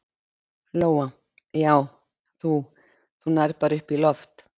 Lóa: Já, þú, þú nærð bara upp í loft?